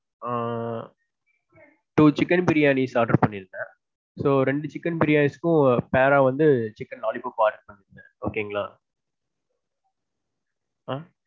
ஆ two chicken biriyanis order பண்ணியிருந்தேன். so, ரெண்டு chicken biriyanis க்கும் pair ரா வந்து chicken lollypop order பண்ணியிருந்தேன் okay ங்களா. ஆ.